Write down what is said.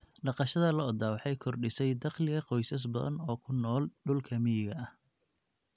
Dhaqashada lo'da lo'da waxay kordhisay dakhliga qoysas badan oo ku nool dhulka miyiga ah.